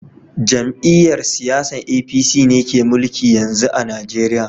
Jam'iyyar siyasan APC ne ke mulki yanzu a Najeriya